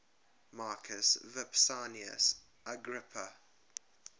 marcus vipsanius agrippa